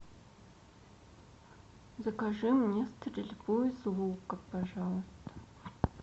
закажи мне стрельбу из лука пожалуйста